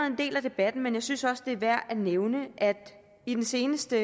en del af debatten men jeg synes også det er værd at nævne at i den seneste